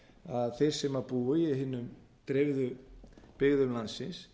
að þeir sem búi í hinum dreifðu byggðum landsins